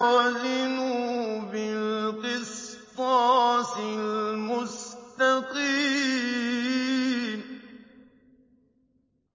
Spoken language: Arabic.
وَزِنُوا بِالْقِسْطَاسِ الْمُسْتَقِيمِ